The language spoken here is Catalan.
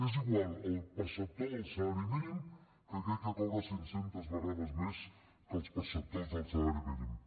és igual el perceptor del salari mínim que aquell que cobra cinccentes vegades més que els perceptors del salari mínim